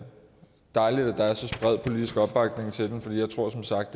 dejligt at der er så bred politisk opbakning til den fordi jeg tror som sagt